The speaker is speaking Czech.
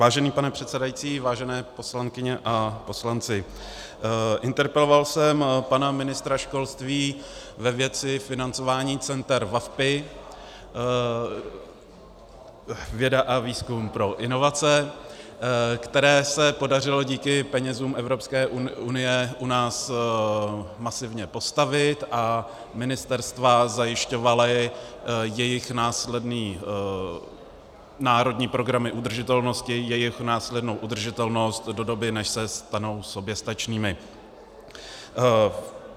Vážený pane předsedající, vážené poslankyně a poslanci, interpeloval jsem pana ministra školství ve věci financování center VaVpI - Věda a výzkum pro inovace, která se podařilo díky penězům Evropské unie u nás masivně postavit, a ministerstva zajišťovala jejich následné národní programy udržitelnosti, jejich následnou udržitelnost do doby, než se stanou soběstačnými.